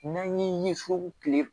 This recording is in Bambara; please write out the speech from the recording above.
N'an ye so kile